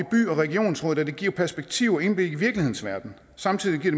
og regionsråd da det giver perspektiv og indblik i virkelighedens verden samtidig giver